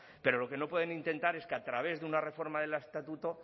pero lo que no pueden intentar es que a través de una reforma del estatuto